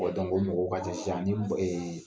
Bɔ dɔnku, ɔ mɔgɔw ka ca sisan, ni ee